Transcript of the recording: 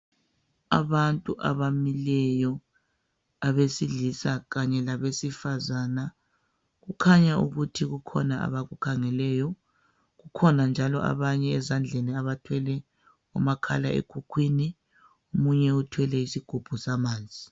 Abantu abamileyo abesilisa kanye labesifazana kukhanya ukuthi kukhona abakukhangeleyo kukhona njalo abanye ezandleni abathwele umakhala ekhukhwini omunye uthwele isigubhu samanzi.